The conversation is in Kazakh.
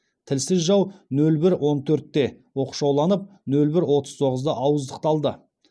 тілсіз жау нөл бір он төртте оқшауланып нөл бір отыз тоғызда ауыздықталды